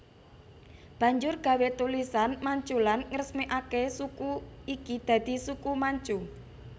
Banjur gawé tulisan Manchulan ngresmekake suku iki dadi Suku Manchu